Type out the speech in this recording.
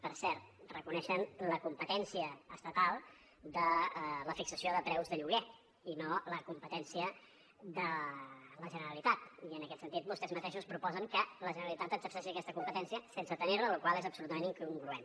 per cert reconeixen la competència estatal de la fixació de preus de lloguer i no la competència de la generalitat i en aquest sentit vostès mateixos proposen que la generalitat exerceixi aquesta competència sense tenir la la qual cosa és absolutament incongruent